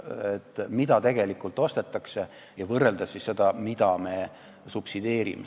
Vaatame, mida tegelikult ostetakse, ja võrdleme sellega, mida me subsideerime.